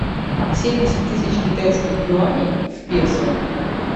семьдесят тысяч китайских юаней в песо